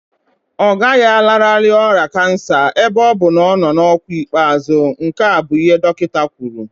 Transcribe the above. Ọ gaghị alanarị ọrịa kansa ebe ọ bụ na ọ nọ n'ọkwa ikpeazụ, nke a bụ ihe dọkịta kwuru